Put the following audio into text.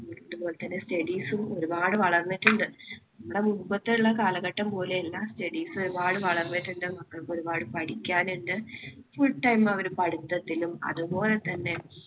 അതുപോലെതന്നെ studies ഉം ഒരുപാട് വളർന്നിട്ടുണ്ട്. നമ്മുടെ മുമ്പത്തേയുള്ള കാലഘട്ടം പോലെയല്ല studies. ഒരുപാട് വളർന്നിട്ടുണ്ട് മക്കള്‍ക്ക് ഒരുപാട് പഠിക്കാനുണ്ട്. full time അവര് പഠിത്തത്തിലും അതുപോലെതന്നെ